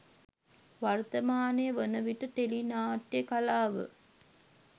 වර්තමානය වන විට ටෙලි නාට්‍යය කලාව